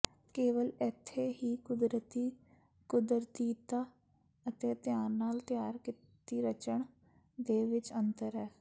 ਕੇਵਲ ਇੱਥੇ ਹੀ ਕੁਦਰਤੀ ਕੁਦਰਤੀਤਾ ਅਤੇ ਧਿਆਨ ਨਾਲ ਤਿਆਰ ਕੀਤੀ ਰਚਣ ਦੇ ਵਿੱਚ ਅੰਤਰ ਹੈ